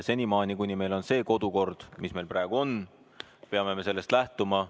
Senimaani, kuni meil on see kodukord, mis meil praegu on, peame me sellest lähtuma.